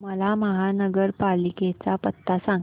मला महापालिकेचा पत्ता सांग